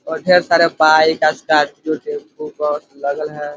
और ढेर सारे बाइक स्कॉर्पियो टैंपू बस लगल हैं।